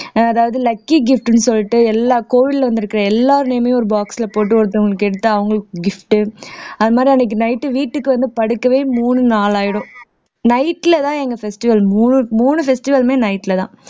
அதாவது lucky gift ன்னு சொல்லிட்டு எல்லா கோவில்ல வந்திருக்கிற எல்லார் name மும் ஒரு box போட்டு ஒருத்தவங்களுக்கு எடுத்தா அவங்களுக்கு gift அது மாதிரி அன்னைக்கு night வீட்டுக்கு வந்து படுக்கவே மூணு நாளு ஆயிடும் night லதான் எங்க festival மூணு மூணு festival லுமே night லதான்